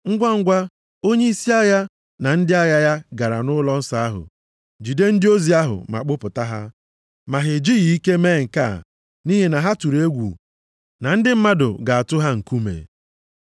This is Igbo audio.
Ngwangwa, onyeisi agha na ndị agha ya gara nʼụlọnsọ ahụ jide ndị ozi ahụ ma kpụta ha, ma ha ejighị ike mee nke a nʼihi na ha tụrụ egwu na ndị mmadụ ga-atụ ha nkume.